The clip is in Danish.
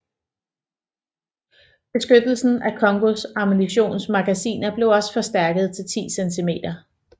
Beskyttelsen af Kongōs ammunitions magasiner blev også forstærket til 10 cm